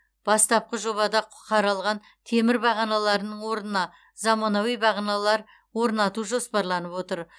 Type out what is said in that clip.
бастапқы жобада қаралған темір бағаналардың орнына заманауи бағаналар орнату жоспарланып отыр